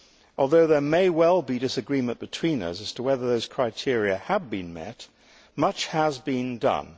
Although there may well be disagreement between us as to whether those criteria have been met, much has been done.